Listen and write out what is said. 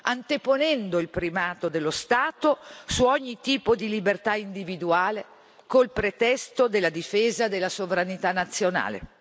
anteponendo il primato dello Stato su ogni tipo di libertà individuale, col pretesto della difesa della sovranità nazionale.